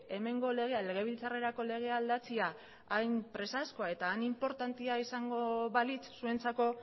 hemengo legea legebiltzarrerako legea aldatzea hain presazkoa eta hain inportantea izango balitz zuentzako